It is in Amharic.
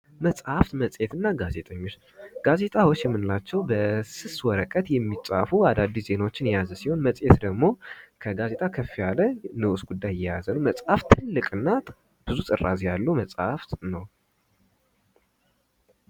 መፅሐፍ መፄት እና ጋዜጦች ጋዜጣዎች የምንላቸው በስስ ወረቀት የሚፃፉ አዳዲስ ዜናዎችን የያዙ ሲሆን መጽሔት ደግሞ ከጋዜጣ ከፍ ያለ ንዑስ ጉዳይ የያዘ መፅሐፍ ትልቅ እና ብዙ ጥራዝ ያለው መፅሐፍ ነው።